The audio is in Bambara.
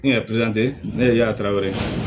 N ye ne ye yatara wɛrɛ